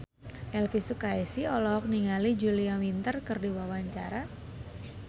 Elvi Sukaesih olohok ningali Julia Winter keur diwawancara